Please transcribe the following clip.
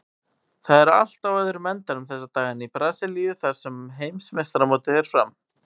Það er allt á öðrum endanum þessa dagana í Brasilíu þar sem heimsmeistaramótið fer fram.